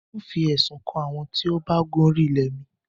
N óo fi ẹ̀sùn kàn àwọn tíó ba gun ori ilẹ̀ mi.